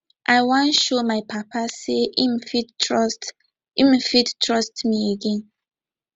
i wan show my papa sey im fit trust im fit trust me again